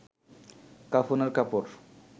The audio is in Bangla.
কাফনের কাপড়